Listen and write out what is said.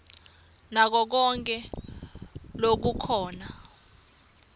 nako konkhe lokukhona